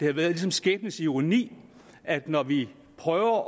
har været skæbnens ironi at når vi prøver